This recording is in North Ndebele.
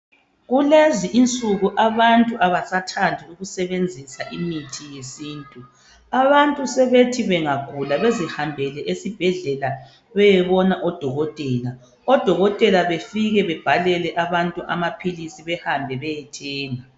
Kulezi insuku abantu abasathandi ukusebenzisa imithi yesintu abantu sebethi bangagula bezihambele esibhedlela beyebona odokotela, odokotela befike bebhalele abantu amaphilisi behambe beyethenga